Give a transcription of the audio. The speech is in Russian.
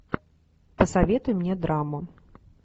посоветуй мне драму